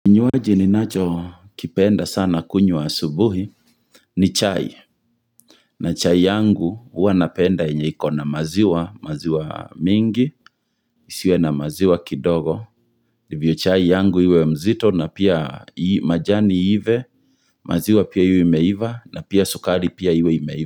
Kinywaji ninacho kipenda sana kunywa asubuhi ni chai na chai yangu huwa napenda yenye iko na maziwa, maziwa mingi, isiwe na maziwa kidogo Ndivyo chai yangu iwe mzito na pia majani iive, maziwa pia iwe imeiva na pia sukari pia iwe imeiva.